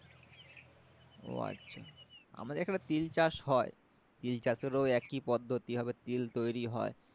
উহ আচ্ছা আমাদের এখানে তিল চাষ হয় তিল চাষেরও একি পদ্ধতি ভাবে তিল তৈরি হয়